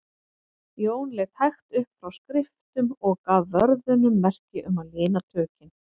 Jón leit hægt upp frá skriftum og gaf vörðunum merki um að lina tökin.